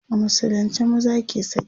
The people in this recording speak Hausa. a musulunce maza ke saki